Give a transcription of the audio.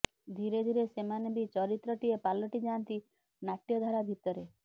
ଧୀରେ ଧୀରେ ସେମାନେ ବି ଚରିତ୍ରଟିଏ ପାଲଟି ଯାଆନ୍ତି ନାଟ୍ୟଧାରା ଭିତରେ